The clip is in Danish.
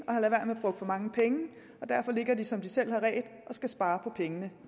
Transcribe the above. og at for mange penge nu ligger de som de selv har redt og skal spare på pengene